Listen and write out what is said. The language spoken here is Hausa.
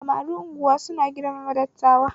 Samarin Unguwa suna girmama dattawa